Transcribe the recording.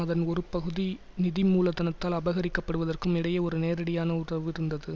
அதன் ஒரு பகுதி நிதி மூலதனத்தால் அபகரிக்கப்படுவதற்கும் இடையே ஒரு நேரடியான உதவு இருந்தது